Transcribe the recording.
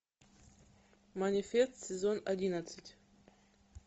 манифест сезон одиннадцать